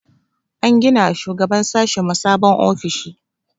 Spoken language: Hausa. An gina wa shugaban sashinmu sabon ofishi.